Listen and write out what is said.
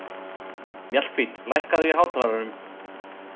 Mjallhvít, lækkaðu í hátalaranum.